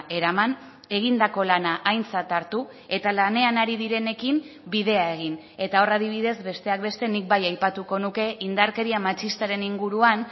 eraman egindako lana aintzat hartu eta lanean ari direnekin bidea egin eta hor adibidez besteak beste nik bai aipatuko nuke indarkeria matxistaren inguruan